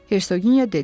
Hersoginya dedi.